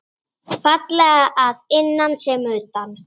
Fallega að innan sem utan.